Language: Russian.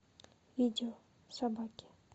видео собаки